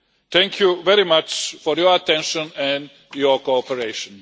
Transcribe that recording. Thank you very much for the attention and your cooperation.